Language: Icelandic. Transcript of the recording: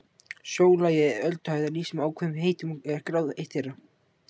Sjólagi eða ölduhæð er lýst með ákveðnum heitum og er gráð eitt þeirra.